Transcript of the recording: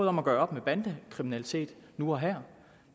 om at gøre op med bandekriminalitet nu og her